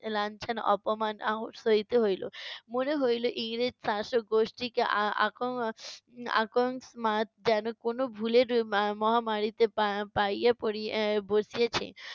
লাঞ্ছনা, অপমান, আহড় সইতে হইলো। মনে হইলো ইংরেজ শাসকগোষ্ঠিকে আ~ আক~ আকন্মাত যেন কোনো ভুলের মা~ মহামারিতে পা~ পাইয়া পড়ি~ এর বসিয়েছে।